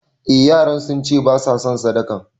Eh yaran sunce basa son sadakan